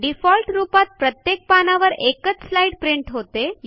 default रूपात प्रत्येक पानावर एकच स्लाईड प्रिंट होते